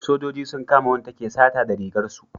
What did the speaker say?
sojoji sun kama wanda take sata da rigar su